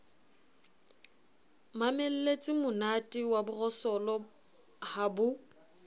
mamelletsemonate wa borosolo ha bo